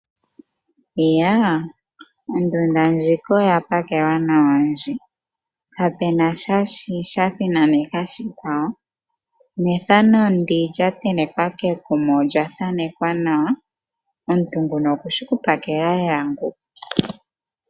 Ondunda ndjika oya pakelwa nawa ndji, kapena sha thinaneka shikwawo nethano ndi lya tenekwa kekuma olya thanekwa nawa omuntu nguno okushi oku pakela lela ngu.